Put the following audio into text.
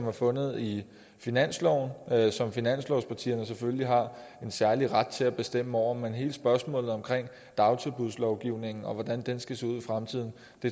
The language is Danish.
er fundet i finansloven som finanslovspartierne selvfølgelig har en særlig ret til at bestemme over men i hele spørgsmålet omkring dagtilbudslovgivningen om hvordan den skal se ud i fremtiden